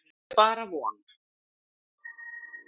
En það er bara von.